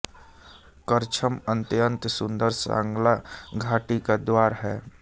करछम अत्य़ंत सुंदर सांगला घाटी का द्वार है